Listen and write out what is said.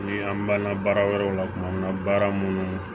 Ni an b'an ka baara wɛrɛw la kuma min na baara minnu